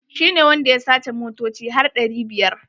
Shi ne wanda ya sace motoci har ɗari biyar.